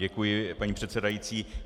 Děkuji, paní předsedající.